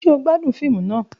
Ṣe o gbadun fiimu naa?.